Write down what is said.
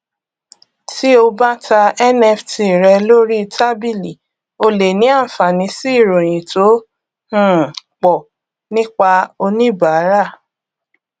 tí o bá ta nft rẹ lórí tábìlì o lè ní àǹfààní sí ìròyìn tó um pọ nípa oníbàárà